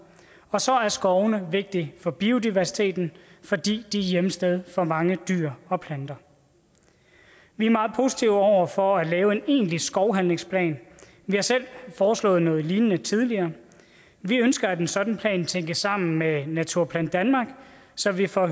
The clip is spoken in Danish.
og så er skovene vigtige for biodiversiteten fordi de er hjemsted for mange dyr og planter vi er meget positive over for at lave en egentlig skovhandlingsplan vi har selv foreslået noget lignende tidligere vi ønsker at en sådan plan tænkes sammen med naturplan danmark så vi får